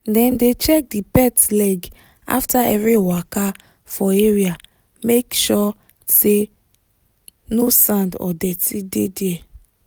dem dey check the pet leg after every waka for area make sure say no sand or dirty dey there.